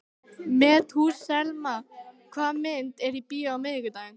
Methúsalem, hvaða myndir eru í bíó á miðvikudaginn?